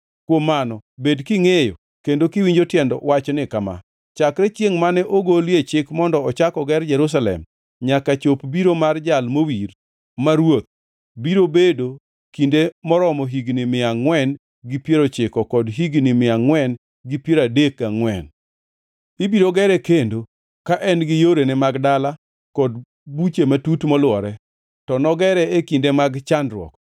“Kuom mano bed kingʼeyo kendo kiwinjo tiend wachni kama: Chakre chiengʼ mane ogolie chik mondo ochak oger Jerusalem, nyaka chop biro mar Jal Mowir, ma Ruoth, biro bedo kinde maromo higni mia angʼwen gi piero ochiko kod higni mia angʼwen gi piero adek gangʼwen. Ibiro gere kendo, ka en gi yorene mag dala kod buche matut molwore, to nogere e kinde mag chandruok.